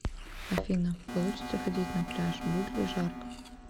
афина получится ходить на пляж будет ли жарко